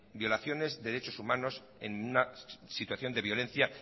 violaciones de derechos humanos en una situación de violencia